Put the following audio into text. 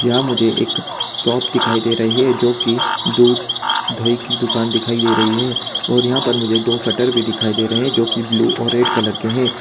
यहां मुझे एक शॉप दिखाई दे रही है जो कि दूध दही की दुकान दिखाई दे रही है और यहां पे मुझे दो शटर भी दिखाई दे रहे हैं जो कि ब्लू और रेड कलर के हैं।